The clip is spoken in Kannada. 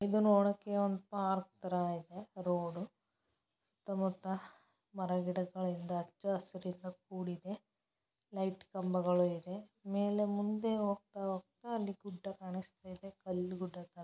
ಇದು ನೋಡಕ್ಕೆ ಒಂದ ಪಾರ್ಕ್ ತರ ಇದೆ ರೋಡ್ ಮರ-ಗಿಡಗಳಿಂದ ಕೂಡಿದೆ ಲೈಟ್ ಕಂಬಗಳಿಗೆ ಇದೆ ಮೇಲೆ ಮುಂದೆ ಹೋಗ್ತಾ ಹೋಗ್ತಾ ಅಲ್ಲಿ ಗುಡ್ಡ ಕಾಣಿಸ್ತಾ ಇದೆ ಕಲ್ಲಿಗುಡ್ಡ